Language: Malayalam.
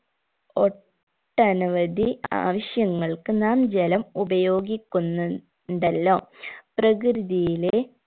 ഒട്ടനവധി ആവശ്യങ്ങൾക്ക് നാം ജലം ഉപയോഗിക്കുന്നു ണ്ടല്ലോ പ്രകൃതിയിലെ